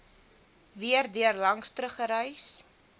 weer daarlangs teruggereis